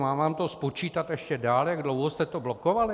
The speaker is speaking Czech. Mám vám to spočítat ještě dál, jak dlouho jste to blokovali?